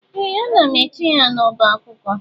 Ee! Ana m eche ya n'ọbá akwụkwọ.